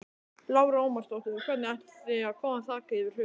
Lára Ómarsdóttir: Hvernig ætið þið að koma þaki yfir höfuðið?